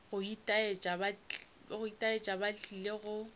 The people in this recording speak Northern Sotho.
go itaetša ba tlile go